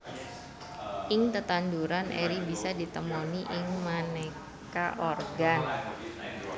Ing tetanduran eri bisa ditemoni ing manéka organ